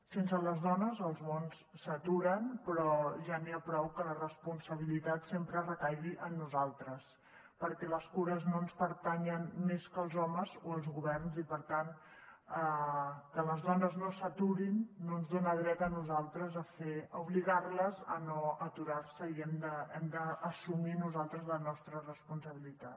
sense les dones els mons s’aturen però ja n’hi ha prou que la responsabilitat sempre recaigui en nosaltres perquè les cures no ens pertanyen més que als homes o als governs i per tant que les dones no s’aturin no ens dona dret a nosaltres a obligar les a no aturar se i hem d’assumir nosaltres la nostra responsabilitat